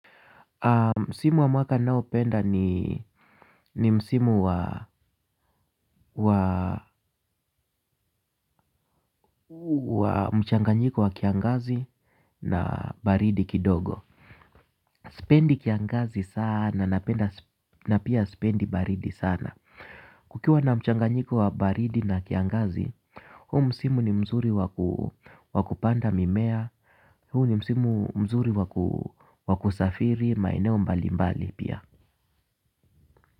Msimu wa mwaka ninaopenda ni msimu wa mchanganyiko wa kiangazi na baridi kidogo. Sipendi kiangazi sana na pia sipendi baridi sana. Kukiwa na mchanganyiko wa baridi na kiangazi, huu msimu ni mzuri wa kupanda mimea, huu ni msimu mzuri wa kusafiri maeneo mbalimbali pia.